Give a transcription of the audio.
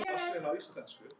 Bjössi er í sjöunda himni.